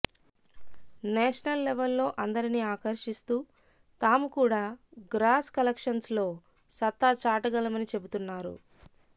national లెవెల్లో అందరిని ఆకర్షిస్తూ తాము కూడా గ్రాస్ కలెక్షన్స్ లో సత్తా చాటగలమని చెబుతున్నారు